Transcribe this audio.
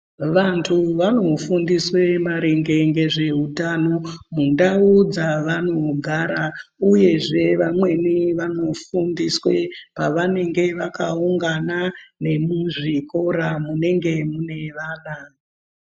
Vantu vanofundiswe maringe ngezveutano mundau dzavanogara, uyezve vamweni vanofundiswe pavanenge vakaungana, nemuzvikora munenge mune vana.